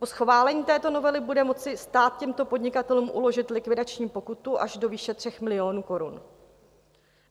Po schválení této novely bude moci stát těmto podnikatelům uložit likvidační pokutu až do výše 3 milionů korun.